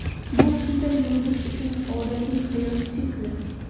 Bu shunday yulduz uchun odatiy hayot sikli.